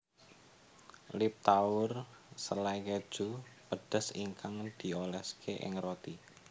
Liptauer selai keju pedes ingkang dioleske ing roti